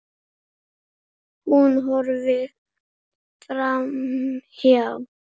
Hún horfir framhjá honum.